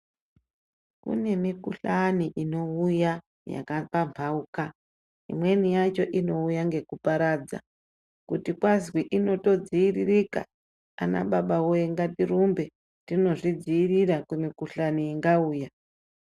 Kune mikhuhlani inouya yakapamhauka imwe yacho ininouya nekuparadza kuti kwazii notodziiririka ana baba wee ngatirumbe tinozvidziirira kumikhuhlani ingauya.